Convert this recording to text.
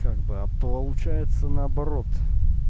как бы а получается наоборот